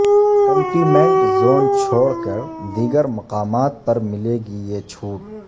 containment zone چھوڑ کر دیگرمقامات پر ملے گی یہ چھوٹ